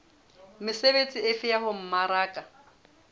mesebetsi efe ya ho mmaraka